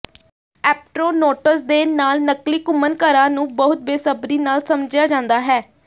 ਐਪਟਰੋਨੋਟਸ ਦੇ ਨਾਲ ਨਕਲੀ ਘੁੰਮਣਘਰਾਂ ਨੂੰ ਬਹੁਤ ਬੇਸਬਰੀ ਨਾਲ ਸਮਝਿਆ ਜਾਂਦਾ ਹੈ